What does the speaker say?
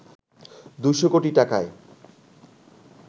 ২০০ কোটি টাকায়